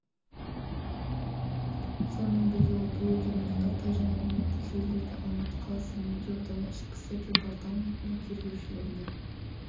сонымен бірге ол блогер мұхтар тайжан әлеуметтік желілерде алматы қаласының медеу ауданы ішкі істер департаментінің тергеушілеріне